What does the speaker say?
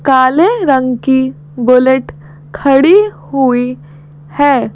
काले रंग की बुलेट खड़ी हुई है।